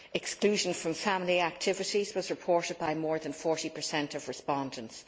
Exclusion from family activities was reported by more than 40 of respondents.